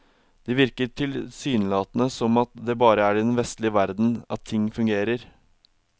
Det virker tilsynelatende som at det bare er i den vestlige verden at ting fungerer.